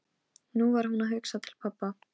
Nú var hún að hugsa til pabba.